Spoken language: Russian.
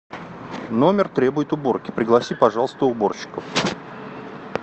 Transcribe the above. номер требует уборки пригласи пожалуйста уборщиков